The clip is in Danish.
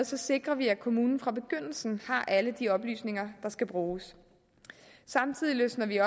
sikrer vi at kommunen fra begyndelsen har alle de oplysninger der skal bruges samtidig løsner vi